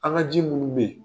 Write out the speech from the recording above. An ka ji munu bɛ yen.